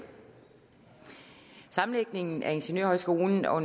sammenlægningen af ingeniørhøjskolen og